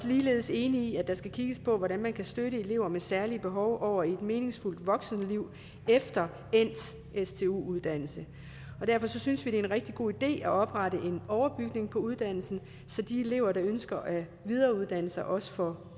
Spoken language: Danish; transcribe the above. ligeledes enige i at der skal kigges på hvordan man kan støtte elever med særlige behov over i et meningsfuldt voksenliv efter endt stu uddannelse derfor synes vi det er en rigtig god idé at oprette en overbygning på uddannelsen så de elever der ønsker at videreuddanne sig også får